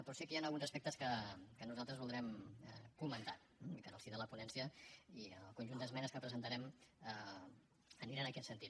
però sí que hi han alguns aspectes que nosaltres voldrem comentar eh i que en el si de la ponència i en el conjunt d’esmenes que presentarem anirà en aquest sentit